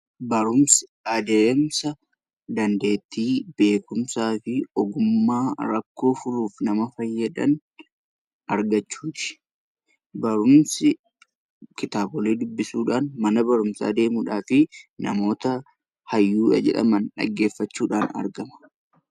Barumsi adeemsa dandeettii beekumsaa fi ogummaa rakkoo furuudhaaf nama fayyadu argachuu barumsi kitaabolee dubbisuudhaan mana barumsaa deemuun fi namoota hayyuudha jedhan dhaggeeffachuun argama.